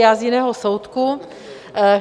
Já z jiného soudku.